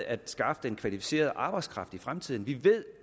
at skaffe den kvalificerede arbejdskraft i fremtiden vi ved